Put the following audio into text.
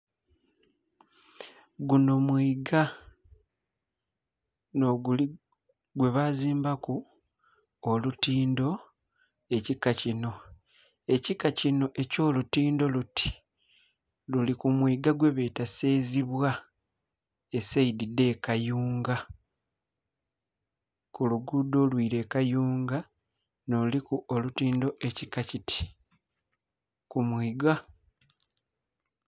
Gunho mwiga, nh'oguli...gwebazimbaku olutindo ekika kino. Ekika kino eky'olutindo luti luli ku mwiga gwebeeta Sezibwa esayidi dh'ekayunga. Ku luguudo olwila ekayunga nh'oluliku olutindo ekika kiti, ku mwiga.